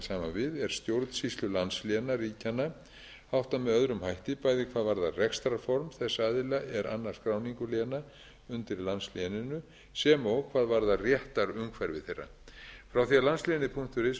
gjarnan saman við er stjórnsýslu landsléna ríkjanna háttað með öðrum hætti bæði hvað varðar rekstrarform þess aðila er annast skráningu léna undir landsléninu sem og hvað varðar réttarumhverfi þeirra frá því að landslénið punktur is var fyrst tekið í